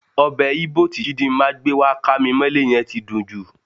Ọbẹ̀ Íbò tí Chidima gbé wá kámimọ́lé yẹn ti dùn jù.